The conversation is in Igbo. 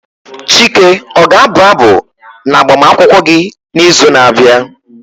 Chike o ga abụ abụ na agbamakwụkwọ gị n'izu na-abịa?